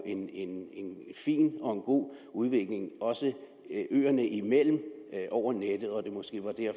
god udvikling også øerne imellem over nettet